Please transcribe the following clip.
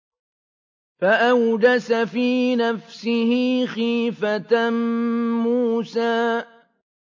فَأَوْجَسَ فِي نَفْسِهِ خِيفَةً مُّوسَىٰ